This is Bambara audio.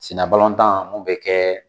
Sina tan mun bɛ kɛ